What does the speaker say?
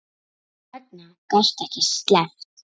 Þess vegna gastu ekki sleppt.